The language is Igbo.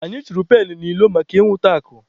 Anyị chunyere pailu n'ilo maka inwụta akụ.